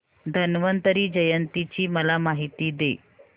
धन्वंतरी जयंती ची मला माहिती दे